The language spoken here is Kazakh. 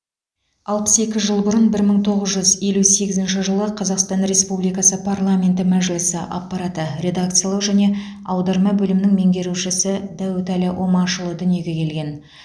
алпыс екі жыл бұрын бір мың тоғыз жүз елу сегізінші жылы қазақстан республикасы парламенті мәжілісі аппараты редакциялау және аударма бөлімінің меңгерушісі дәуітәлі омашұлы дүниеге келген